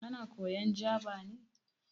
Kana koyan Jaba ne?